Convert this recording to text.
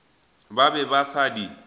ba be ba sa di